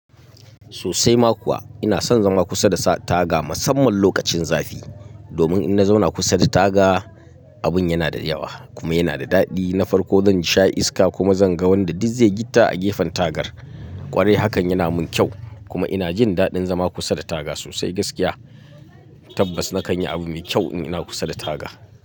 Sosai ma kuwa ina son zama kusa da taga musamman lokacin zafi. Domin in na zauna kusa da taga abin yana da yawa kuma yana da daɗi. Na farko zan sha iska kuma zan ga wanda dizze gitta a gefen tagar ƙwarai hakan yana mun kyau kuma ina jin daɗin zama kusa da taga sosai gaskiya. Tabbas na kan yi abu mai kyau in ina kusa da taga.